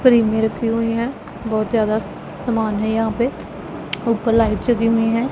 में रखी हुई हैं बहोत ज्यादा सामान है यहां पे ऊपर लाइट जगी हुई हैं।